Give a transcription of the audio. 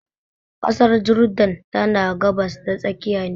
Kasar Jordan tana gabas ta tsakiya ne.